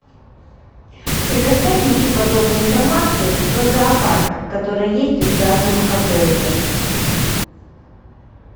предоставь мне всю подробную информацию про зоопарк который есть в данном отеле